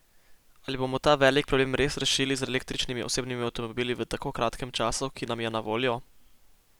Ali bomo ta velik problem res rešili z električnimi osebnimi avtomobili v tako kratkem času, ki nam je na voljo?